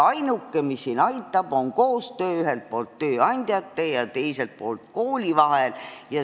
Ainuke, mis siin aitab, on koostöö tööandjate ja kooli vahel.